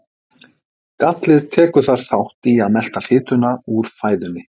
gallið tekur þar þátt í að melta fitu úr fæðunni